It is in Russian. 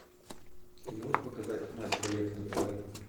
ты можешь показать матч боец на тв